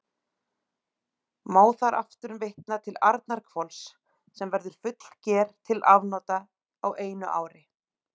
Má þar aftur vitna til Arnarhvols, sem verður fullger til afnota á einu ári.